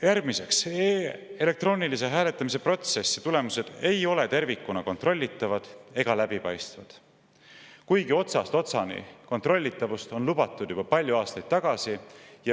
Järgmiseks, elektroonilise hääletamise protsessi tulemused ei ole tervikuna kontrollitavad ega läbipaistvad, kuigi otsast otsani kontrollitavust on lubatud juba palju aastaid tagasi.